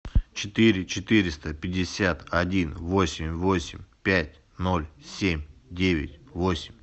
четыре четыреста пятьдесят один восемь восемь пять ноль семь девять восемь